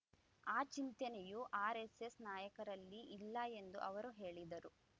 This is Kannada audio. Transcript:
ಆ ಚಿಂತನೆಯೂ ಆರ್ ಎಸ್ಎಸ್ ನಾಯಕರಲ್ಲಿ ಇಲ್ಲ ಎಂದು ಅವರು ಹೇಳಿದರು